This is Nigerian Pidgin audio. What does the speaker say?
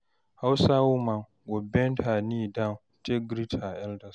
hausa woman go bend her knee down take greet her elders